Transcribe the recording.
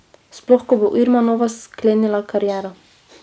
Sploh ko bo Irmanova sklenila kariero.